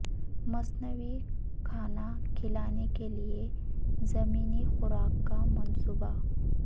مصنوعی کھانا کھلانے کے لئے ضمنی خوراک کا منصوبہ